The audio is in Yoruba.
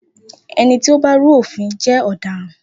Ení tí ó bá rú òfin jé ọ̀dáran.